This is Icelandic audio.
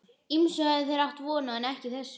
Ýmsu höfðu þeir átt von á, en ekki þessu.